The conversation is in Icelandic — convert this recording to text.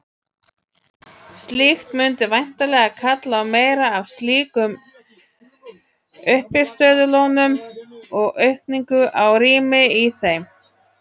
Slíkt mundi væntanlega kalla á meira af slíkum uppistöðulónum og aukningu á rými í þeim.